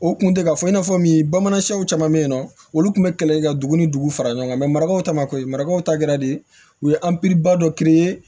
O kun tɛ ka fɔ i n'a fɔ min bamanansiw caman be yen nɔ olu tun be kɛlɛli kɛ ka dugu ni dugu fara ɲɔgɔn kan mɛ marakaw ta ma ko mariakaw ta kɛra de u ye ba dɔ